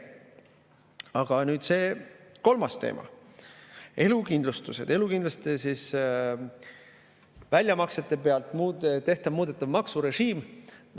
Aga nüüd see kolmas teema: elukindlustused, elukindlustuse väljamaksete puhul muudetav maksurežiim.